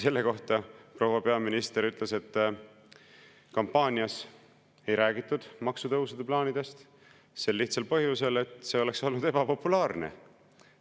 " Selle kohta proua peaminister ütles, et kampaanias ei räägitud maksutõusude plaanidest sel lihtsal põhjusel, et see oleks olnud ebapopulaarne.